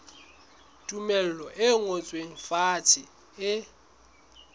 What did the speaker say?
tumello e ngotsweng fatshe e